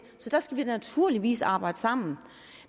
så der skal vi naturligvis arbejde sammen